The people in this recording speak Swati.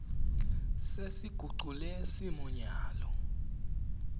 sesigucule simo nyalo